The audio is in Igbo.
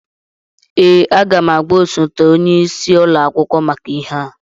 Ee, aga m agwa osote onye isi ụlọ akwụkwọ maka ihe a